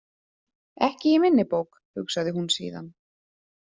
Ekki í minni bók, hugsaði hún síðan.